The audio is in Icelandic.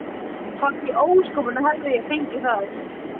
Hvar í ósköpunum hafði ég fengið það?